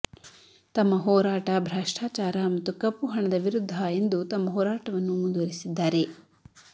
ತಮ್ಮ ಹೋರಾಟ ಭ್ರಷ್ಟಾಚಾರ ಮತ್ತು ಕಪ್ಪು ಹಣದ ವಿರುದ್ದ ಎಂದು ತಮ್ಮ ಹೋರಾಟವನ್ನು ಮುಂದುವರೆಸಿದ್ದಾರೆ